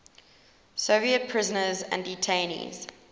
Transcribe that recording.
soviet prisoners and detainees